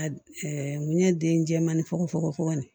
A mun ye den jɛman ne fɔgɔ fogo fogo de